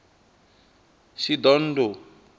shidondho